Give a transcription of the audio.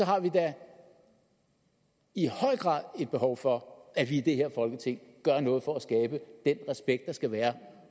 har vi da i høj grad et behov for at vi i det her folketing gør noget for at skabe den respekt der skal være